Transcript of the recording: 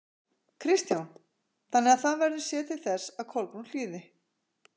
Kristján: Þannig að það verður séð til þess að Kolbrún hlýði?